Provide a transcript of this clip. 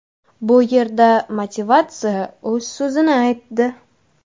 Bu yerda motivatsiya o‘z so‘zini aytdi.